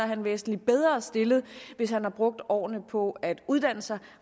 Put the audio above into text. han væsentlig bedre stillet hvis han har brugt årene på at uddanne sig